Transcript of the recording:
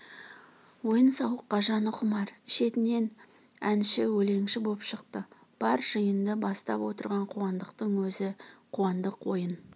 ойын-сауыққа жаны құмар шетінен әнші өлеңші боп шықты бар жиынды бастап отырған қуандықтың өзі қуандық ойын